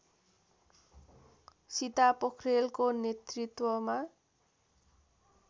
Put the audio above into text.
सीता पोखरेलको नेतृत्वमा